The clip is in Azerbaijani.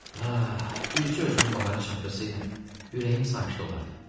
Ah, bircə özümü bahara çatdırsaydım, ürəyim sakit olardı.